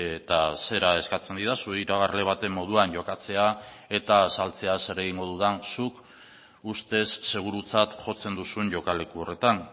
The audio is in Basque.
eta zera eskatzen didazu iragarle baten moduan jokatzea eta azaltzea zer egingo dudan zuk ustez segurutzat jotzen duzuen jokaleku horretan